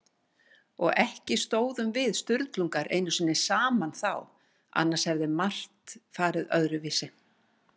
Og ekki stóðum við Sturlungar einu sinni saman þá, annars hefði margt farið öðruvísi.